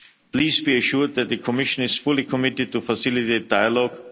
the MFF. Please be assured that the Commission is fully committed to facilitating dialogue.